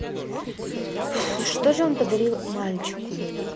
и что же он подарил мальчику